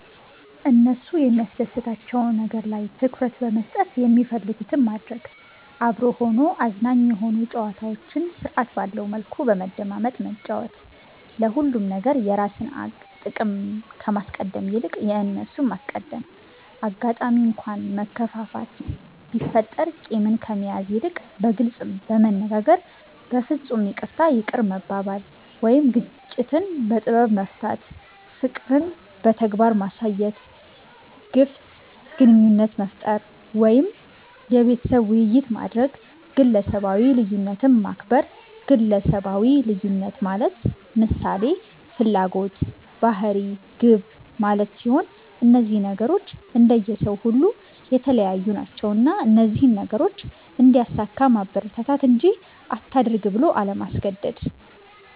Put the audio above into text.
እነሱ የሚያስደስታቸዉ ነገር ላይ ትኩረት በመስጠት የሚፈልጉትን ማድረግ፤ አብሮ ሆኖ አዝናኝ የሆኑ ጨዋታዎችን ስርዐት ባለዉ መልኩ በመደማመጥ መጫወት፤ ለሁሉም ነገር የራስን ጥቅም ከማስቀደም ይልቅ የእነርሱን ማስቀደም፣ አጋጣሚ እንኳ መከፋፋት ቢፈጠር ቂምን ከመያዝ ይልቅ በግልጽ በመነጋገር በፍፁም ይቅርታ ይቅር መባባል ወይም ግጭትን በጥበብ መፍታት፣ ፍቅርን በተግባር ማሳየት፣ ግፍት ግንኙነት መፍጠር ወይም የቤተሰብ ዉይይት ማድረግ፣ ግለሰባዊ ልዩነትን ማክበር ግለሰባዊ ልዩነት ማለት ምሳሌ፦ ፍላጎት፣ ባህሪ፣ ግብ ማለት ሲሆን እነዚህ ነገሮች እንደየ ሰዉ ሁሉ የተለያዩ ናቸዉና እነዚህን ነገሮች እንዲያሳካ ማበረታታት እንጂ አታድርግ ብሎ አለማስገደድ።